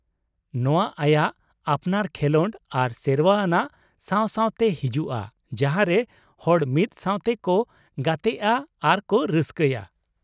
ᱱᱚᱶᱟ ᱟᱭᱟᱜ ᱟᱯᱱᱟᱨ ᱠᱷᱮᱞᱚᱸᱰ ᱟᱨ ᱥᱮᱨᱣᱟ ᱟᱱᱟᱜ ᱥᱟᱶ ᱥᱟᱶᱛᱮ ᱦᱤᱡᱩᱜᱼᱟ ᱡᱟᱦᱟᱸ ᱨᱮ ᱦᱚᱲ ᱢᱤᱫ ᱥᱟᱶᱛᱮ ᱠᱚ ᱜᱟᱛᱮᱜᱼᱟ ᱟᱨ ᱠᱚ ᱨᱟᱹᱥᱠᱟᱹᱭᱟ ᱾